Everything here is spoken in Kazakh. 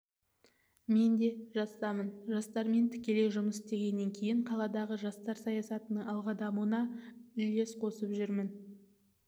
мен де жастамын жастармен тікелей жұмыс істегеннен кейін қаладағы жастар саясатының алға дамуына үлек қосып жүрмін